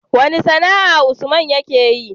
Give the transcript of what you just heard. Wace sAna'a usman yake yi?